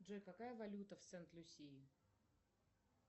джой какая валюта в сент люсии